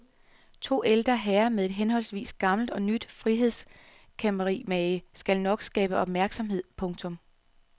To ældre herrer med et henholdsvis gammelt og nyt frihedskæmperimage skal nok skabe opmærksomhed. punktum